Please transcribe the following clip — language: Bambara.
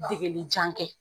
Degelijan kɛ